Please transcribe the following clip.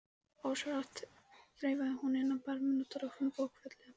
Ósjálfrátt þreifaði hún inn á barminn og dró fram bókfellið.